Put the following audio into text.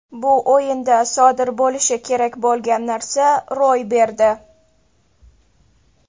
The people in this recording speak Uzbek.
Bu o‘yinda sodir bo‘lishi kerak bo‘lgan narsa ro‘y berdi.